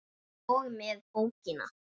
og með bókina!